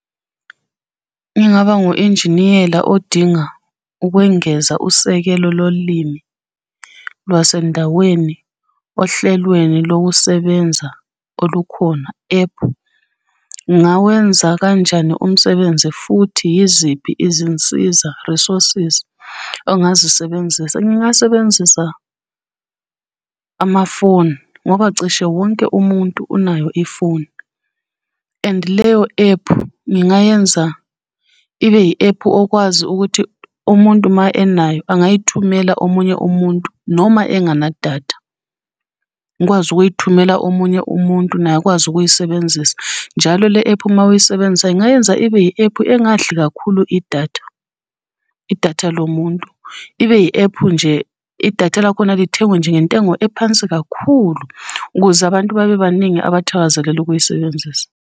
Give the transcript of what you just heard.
Ngingaba ngu-enjiniyela odinga ukwengeza usekelo lolimi lwasendaweni ohlelweni lokusebenza olukhona, ephu. Ngawenza kanjani umsebenzi futhi yiziphi izinsiza, resources, ongazisebenzisa? Ngingasebenzisa amafoni, ngoba cishe wonke umuntu unayo ifoni. And leyo ephu ngingayenza ibe yi-ephu okwazi ukuthi umuntu ma enayo angayithumela omunye umuntu noma engenadatha. Ngikwazi ukuyithumela omunye umuntu naye akwazi ukuyisebenzisa njalo le-ephu mawuyisebenzisa ingayenza ibe yi-ephu engadli kakhulu Idatha, idatha lo muntu, ibe yi-ephu nje idatha lakhona lithengwe nje ngentengo ephansi kakhulu, ukuze abantu babe baningi abathakazelela ukuyisebenzisa.